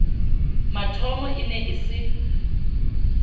mathomo e ne e se